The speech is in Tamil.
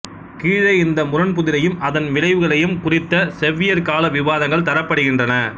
கீழே இந்த முரண்புதிரையும் அதன் விளைவுகளையும் குறித்த செவ்வியற்கால விவாதங்கள் தரப்படுகின்றன